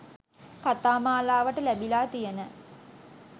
කතා මාලාවට ලැබිලා තියන